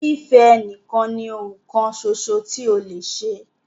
Fífẹ́ ẹ nìkan ní oun kan ṣoṣo tí o lè ṣe!